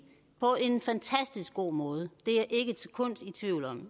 på en fantastisk god måde det er jeg ikke et sekund i tvivl om